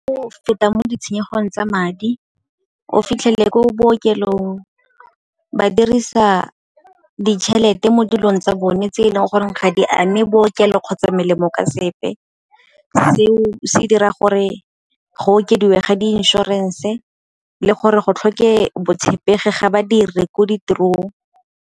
O feta mo ditshenyegong tsa madi, o fitlhele ko bookelong ba dirisa ditšhelete mo dilong tsa bone tse e leng gore ga di ame bookelo kgotsa melemo ka sepe. Seo se dira gore go okediwe ga di inšorense le gore go tlhoke botshepegi ga badiri ko ditirong.